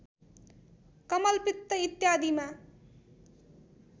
कमलपित्त इत्यादिमा